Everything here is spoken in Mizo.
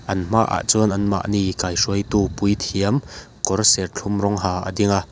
an hma ah chuan an mahni kaihruaitu puithiam kawr serthlum rawng ha a ding a--